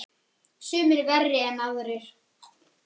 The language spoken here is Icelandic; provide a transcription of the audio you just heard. Sumir verri en aðrir.